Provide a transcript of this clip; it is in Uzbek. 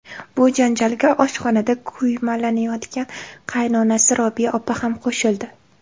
Bu janjalga oshxonada kuymalanayotgan qaynonasi Robiya opa ham qo‘shildi.